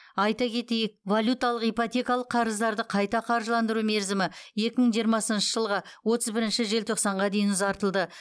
айта кетейік валюталық ипотекалық қарыздарды қайта қаржыландыру мерзімі екі мың жиырмасыншы жылғы отыз бірінші желтоқсанға дейін ұзартылды